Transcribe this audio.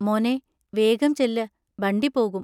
മോനേ, വേഗം ചെല്ല്, ബണ്ടി പോകും!